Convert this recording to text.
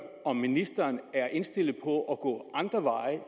om ministeren er indstillet på at gå andre veje